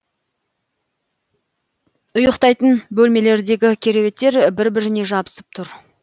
ұйықтайтын бөлмелердегі кереуеттер бір біріне жабысып тұр